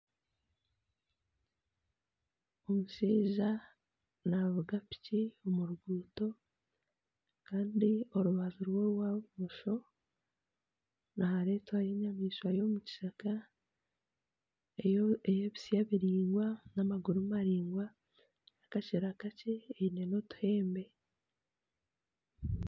Omushaija navuga piki omu ruguuto Kandi orubaju rwe rwa bumosho niharetwayo enyamaishwa yo omu kishaka eye bisya biringwa n'amaguru maringwa, nakashera kakye eine n'otuhembe.